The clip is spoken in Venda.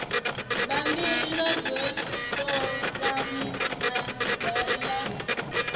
bammbiri ḽoḓhe ṱolani siaḓari ḽa